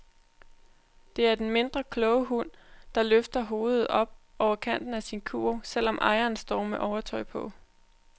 Det er den mindre kloge hund, der blot løfter hovedet op over kanten af sin kurv, selv om ejeren står med overtøj på.